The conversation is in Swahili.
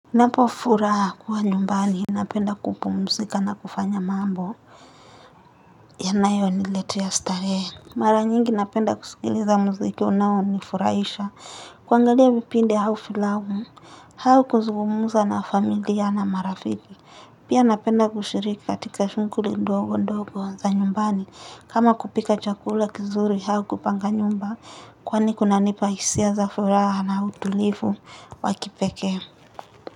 Napofuraha kuwa nyumbani Napenda kupumzika na kufanya mambo Yanayoniletea starehe Mara nyingi napenda kusikiliza muziki unaonifurahisha kuangalia vipindi au filamu au kuzugumza na familia na marafiki Pia napenda kushiriki katika shughuli ndogo ndogo za nyumbani kama kupika chakula kizuri au kupanga nyumba kwani kunanipa hisia za furaha na utulivu wa kipekee.